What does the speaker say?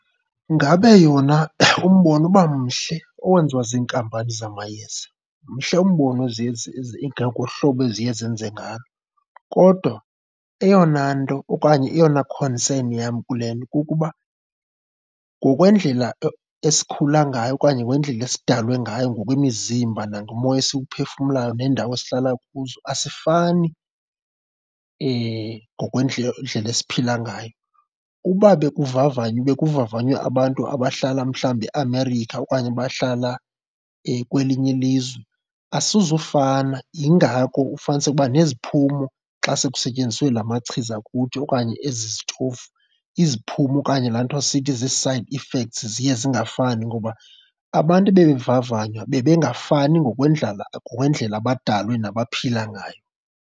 Ngabe yona umbono uba mhle owenziwa ziinkampani zamayeza, mhle umbono eziye ngohlobo eziye zenze ngalo. Kodwa eyona nto okanye eyona concern yam kule nto kukuba ngokwendlela esikhula ngayo okanye ngokwendlela esidalwe ngayo ngokwemizimba nangomoya esiwuphefumlayo neendawo esihlala kuzo, asifani esiphila ngayo. Uba bekuvavanywa, bekuvavanywe abantu abahlala mhlawumbi eAmerica okanye abahlala kwelinye ilizwe, asizufana. Yingako ufumaniseke uba neziphumo xa sekusetyenziswe la machiza kuthi okanye ezi zitofu, iziphumo okanye laa nto sithi zii-side effects ziye zingafani ngoba abantu ebevavanywa bebengafani ngokwendlala, ngokwendlela abadalwe nabaphila ngayo.